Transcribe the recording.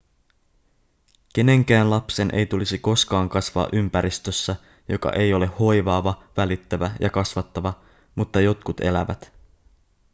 kenenkään lapsen ei tulisi koskaan kasvaa ympäristössä joka ei ole hoivaava välittävä ja kasvattava mutta jotkut elävät